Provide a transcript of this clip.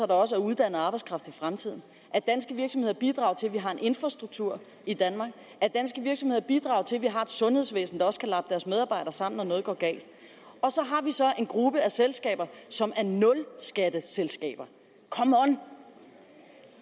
der også er uddannet arbejdskraft i fremtiden at danske virksomheder bidrager til at vi har en infrastruktur i danmark at danske virksomheder bidrager til at vi har et sundhedsvæsen der også kan lappe deres medarbejdere sammen når noget går galt og at vi så har en gruppe af selskaber som er nulskatteselskaber come on